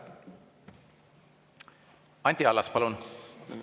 Anti Allas, palun!